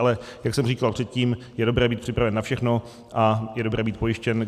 Ale jak jsem říkal předtím, je dobré být připraven na všechno a je dobré být pojištěn.